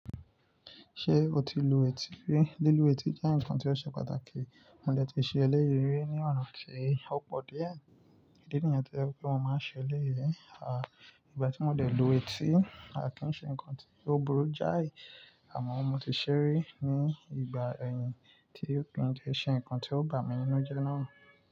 Ṣé o ti lu etí rí? Lílu etí jẹ́ nǹkan tí ó ṣe pàtàkì. Mo dẹ̀ ti ṣe eléyìí rí ní ọ̀nà tí ó pọ̀ díẹ̀. Ìdí nìyẹn tí o yẹ pé mo máa ń ṣe eléyìí. À, ìgbà tí mo dẹ̀ lu etí, a kì í ṣe nǹkan tí ó burú jáì, àmọ́ mo ti ṣe rí ní ìgbà ẹ̀yìn tí ó pín jẹ́ ṣe nǹkan tí ó bà mí nínú jẹ́ náà.